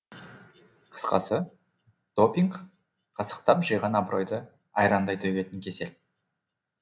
қысқасы допинг қасықтап жиған абыройды айрандай төгетін кесел